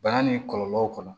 Bana ni kɔlɔlɔw kɔnɔ